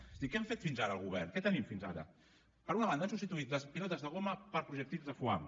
és a dir què hem fet fins ara el govern què tenim fins ara per una banda han substituït les pilotes de goma per projectils de foam